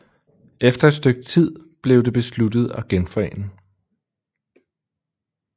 Efter et stykke tid blev det besluttet at genforene